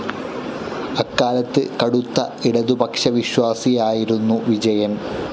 അക്കാലത്ത് കടുത്ത ഇടതുപക്ഷവിശ്വാസിയായിരുന്നു വിജയൻ.